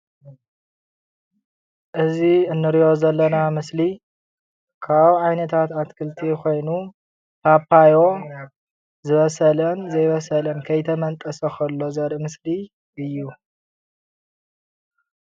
እዚ ንሪኦ ዘለና ምስሊ ካብ ዓይነታት ኣትክልቲ ኮይኑ ፓፓዮ ዝበሰለን ዘይበሰለን ከይተመንጠሰ ከሎ ዘርኢ ምስሊ እዩ፡፡